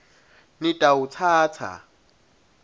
nitawutsatsa